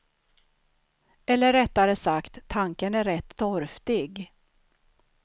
Eller rättare sagt, tanken är rätt torftig.